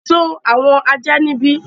sọ àwọn ajá níbí!